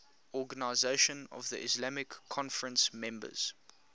organisation of the islamic conference members